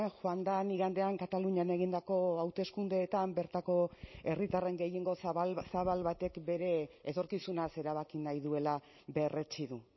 joan den igandean katalunian egindako hauteskundeetan bertako herritarren gehiengo zabal zabal batek bere etorkizunaz erabaki nahi duela berretsi du